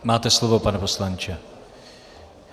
Máte slovo, pane poslanče.